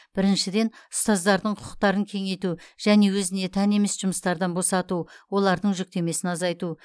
біріншіден ұстаздардың құқықтарын кеңейту және өзіне тән емес жұмыстардан босату олардың жүктемесін азайту